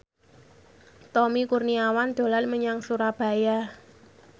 Tommy Kurniawan dolan menyang Surabaya